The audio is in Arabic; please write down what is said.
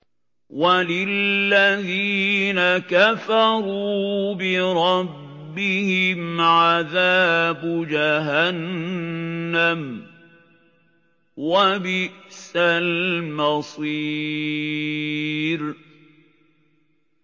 وَلِلَّذِينَ كَفَرُوا بِرَبِّهِمْ عَذَابُ جَهَنَّمَ ۖ وَبِئْسَ الْمَصِيرُ